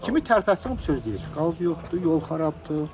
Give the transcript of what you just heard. Kimi tərpəsin o söz deyir ki, qaz yoxdur, yol xarabdır.